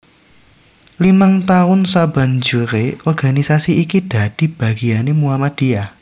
Limang taun sabanjure organisasi iki dadi bagiane Muhammadiyah